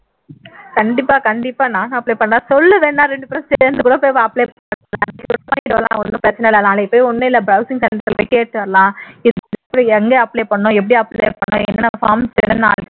கண்டிப்பா கண்டிப்பா நானும் apply பண்றேன் சொல்லு வேண்ணா இரண்டு பேரும் சேர்ந்து கூட போய் apply பண்ணலாம் நாளைக்கு போய் ஒண்ணும் இல்ல browsing center ல கூட போய் கேட்டுட்டு வரலாம் எங்க apply பண்ணனும் எப்படி apply பண்ணனும் என்ன forms என்னென்ன